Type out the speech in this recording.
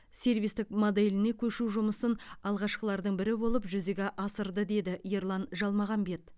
сервистік моделіне көшу жұмысын алғашқылардың бірі болып жүзеге асырды деді ерлан жалмағамбет